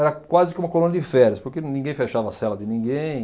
Era quase que uma colônia de férias, porque ninguém fechava a cela de ninguém.